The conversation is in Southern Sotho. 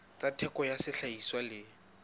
tsa theko ya sehlahiswa le